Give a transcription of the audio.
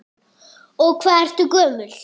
Og hvað ertu gömul?